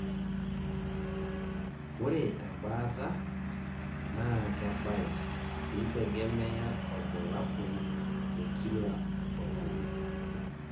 ore ebaata naa kebaya keitegemea orbulabol le kila oltung'ani.